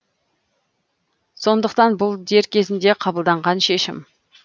сондықтан бұл дер кезінде қабылданған шешім